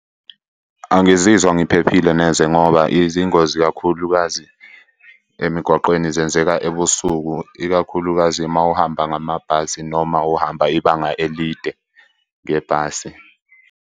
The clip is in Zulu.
Angizizwa ngiphephile neze ngoba izingozi kakhulukazi emgwaqeni zenzeka ebusuku, ikakhulukazi uma uhamba ngamabhasi noma uhamba ibanga elide ngebhasi.